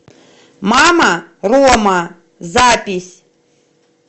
мама рома запись